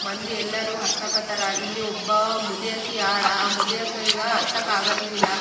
ಇಲ್ಲಿ ಆಕಾಶ ನೀಲಿ ನೇರಳೆ ಮತ್ತೆ ಹಸಿರು ಬಹುದು ಬಣ್ಣದಲ್ಲಿ ಕಾಣಿಸುತ್ತಿದೆ.